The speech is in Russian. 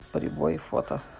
прибой фото